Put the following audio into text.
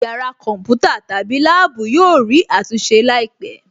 Yàrá kọ̀ḿpútà/lab yóò rí àtúnṣe láìpẹ̀